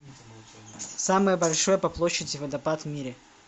самый большой по площади водопад в мире